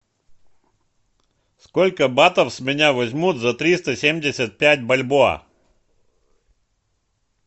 сколько батов с меня возьмут за триста семьдесят пять бальбоа